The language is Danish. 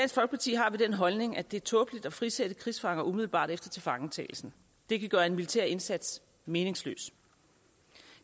holdning at det er tåbeligt at frisætte krigsfanger umiddelbart efter tilfangetagelsen det kan gøre en militær indsats meningsløs